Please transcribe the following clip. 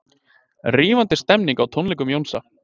Rífandi stemning á tónleikum Jónsa